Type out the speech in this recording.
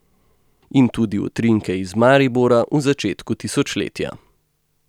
In tudi utrinke iz Maribora v začetku tisočletja.